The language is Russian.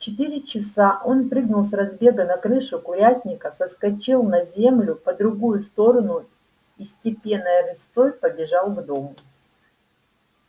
в четыре часа он прыгнул с разбега на крышу курятника соскочил на землю по другую сторону и степенной рысцой побежал к дому